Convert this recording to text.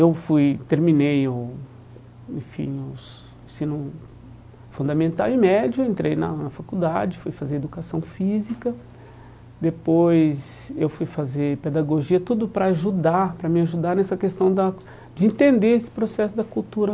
Eu fui terminei o enfim o ensino fundamental e médio, entrei na faculdade, fui fazer educação física, depois eu fui fazer pedagogia, tudo para ajudar, para me ajudar nessa questão da de entender esse processo da cultura